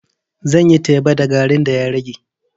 Zan yi teba da garin da ya rage.